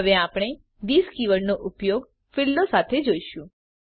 હવે આપણે થિસ કીવર્ડનો ઉપયોગ ફીલ્ડો સાથે જોઈશું